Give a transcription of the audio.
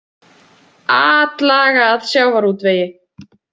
Atlaga að sjávarútvegi